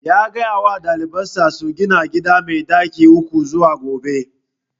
Ya gaya wa daliban sa su gina gida mai ɗaki uku zuwa gobe